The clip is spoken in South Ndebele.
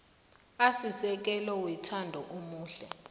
asisekelo wethando omunye